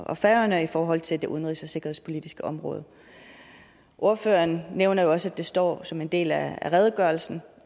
og færøerne i forhold til det udenrigs og sikkerhedspolitiske område ordføreren nævner jo også at det står som en del af redegørelsen